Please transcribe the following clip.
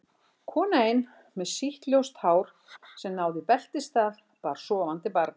Kona ein með sítt ljóst hár sem náði í beltisstað, bar sofandi barn.